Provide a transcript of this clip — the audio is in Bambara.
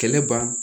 Kɛlɛ ban